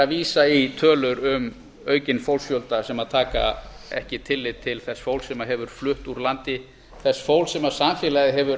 vísa í tölur um aukinn fólksfjölda sem tekur ekki tillit til þess fólks sem hefur flutt úr landi þess fólks sem samfélagið hefur